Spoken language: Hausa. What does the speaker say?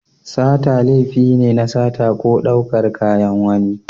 Sata laifi ne na sata ko ɗaukar kaya na wani.